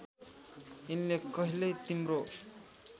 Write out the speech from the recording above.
यिनले कहिल्यै तिम्रो